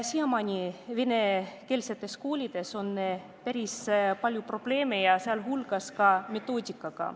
Siiamaani aga on venekeelsetes koolides päris palju probleeme, sh metoodikaga.